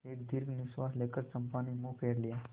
एक दीर्घ निश्वास लेकर चंपा ने मुँह फेर लिया